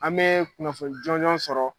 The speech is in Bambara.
An bɛ kunnafoni jɔnjɔn sɔrɔ.